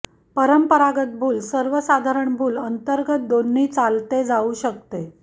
परंपरागत भूल सर्वसाधारण भूल अंतर्गत दोन्ही चालते जाऊ शकते